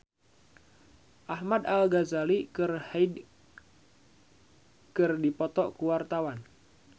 Ahmad Al-Ghazali jeung Hyde keur dipoto ku wartawan